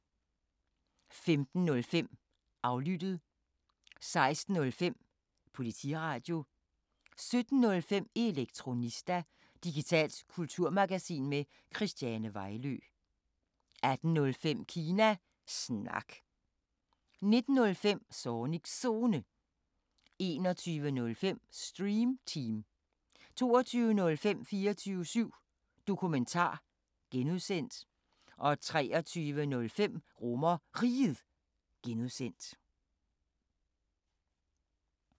15:05: Aflyttet 16:05: Politiradio 17:05: Elektronista – digitalt kulturmagasin med Christiane Vejlø 18:05: Kina Snak 19:05: Zornigs Zone 21:05: Stream Team 22:05: 24syv Dokumentar (G) 23:05: RomerRiget (G)